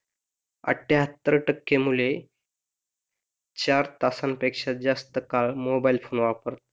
आठयहात्तर टक्के मुले चार तासांपेक्षा जास्त काळ मोबाइल फोन वापरतात.